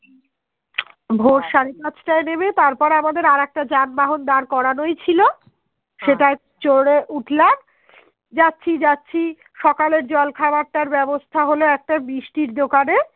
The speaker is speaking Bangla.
যাচ্ছি যাচ্ছি সকালের জল খাবার টার ব্যবস্থা হলো একটা মিষ্টির দোকানে